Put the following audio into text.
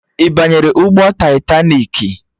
Ị banyere ụgbọ taitaniki?